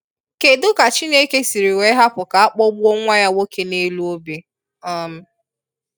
Kedụ ka Chineke siri wee hapụ ka akpọgbuo nwa Ya nwoke n'elu obe? um